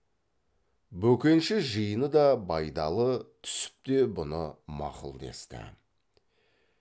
бөкенші жиыны да байдалы түсіп те бұны мақұл десті